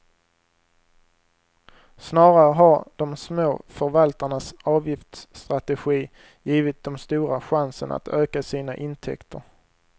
Snarare har de små förvaltarnas avgiftsstrategi givit de stora chansen att öka sina intäkter.